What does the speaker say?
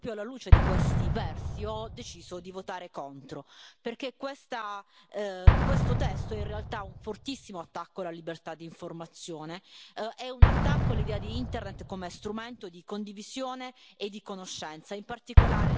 Uruchomiliście eurosceptyczną lawinę, która zmiecie Was mam nadzieję przy następnych wyborach, bo stanęliście po stronie lobbystów przeciwko własnym obywatelom. I ci obywatele Was z tego rozliczą, a ja postaram się im w tym pomóc.